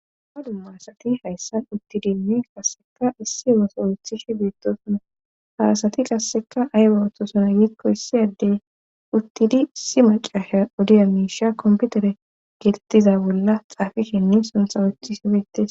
Ha dumma asati hayssan uttidini qasseka issi woso wuthish beettosona harasati qasseka aywa wohtosona giikko issi addey uttidi si macasha odiya miisha komputere geetettiza bolla xaafishinne suntha uthi si petes.